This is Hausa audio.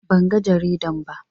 Banga jaridan ba.